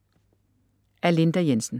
Af Linda Jensen